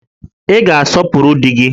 Ị ga-asọpụrụ di gị!